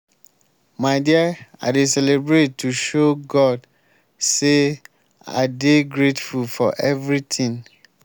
my dear i dey celebrate to show god say i dey grateful for everything